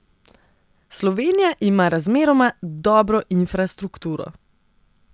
Slovenija ima razmeroma dobro infrastrukturo.